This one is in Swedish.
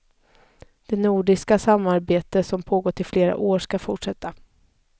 Det nordiska samarbete, som pågått i flera år, skall fortsätta.